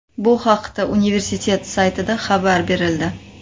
Bu haqda universtitet saytida xabar berildi .